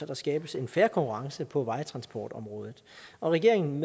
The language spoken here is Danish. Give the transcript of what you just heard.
der skabes en fair konkurrence på vejtransportområdet og regeringen